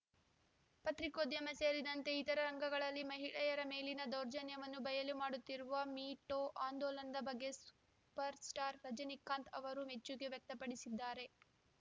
ಪತ್ರಿಕೋದ್ಯಮ ಸೇರಿದಂತೆ ಇತರ ರಂಗಗಳಲ್ಲಿ ಮಹಿಳೆಯರ ಮೇಲಿನ ದೌರ್ಜನ್ಯವನ್ನು ಬಯಲು ಮಾಡುತ್ತಿರುವ ಮೀ ಟೂ ಆಂದೋಲನದ ಬಗ್ಗೆ ಸೂಪರ್‌ ಸ್ಟಾರ್‌ ರಜನೀಕಾಂತ್‌ ಅವರು ಮೆಚ್ಚುಗೆ ವ್ಯಕ್ತಪಡಿಸಿದ್ದಾರೆ